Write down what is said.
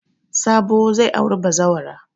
Sabo zai auri bazawara.